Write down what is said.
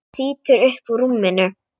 Hann þýtur upp úr rúminu.